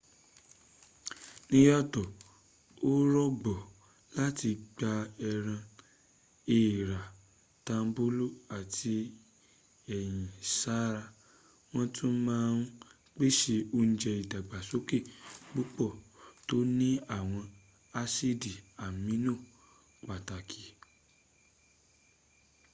níyàtọ̀ ó rọgbọ láti gba ẹran èrà tambolo ati ẹ̀yin sára wọ́n tún ma n pèsè ounje idagbasoke púpọ̀ tó ní àwọn asidi amino pàtàkì